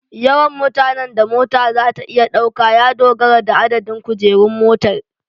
Yawan mutanen da mota za ta iya ɗauka ya dogara da adadin kujerun motar